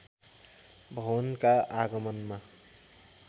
भवनका आँगनमा